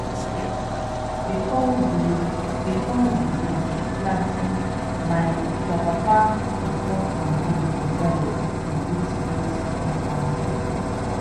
before we before we go planting my grandpapa go pour palm wine for ground to greet spirit of our people.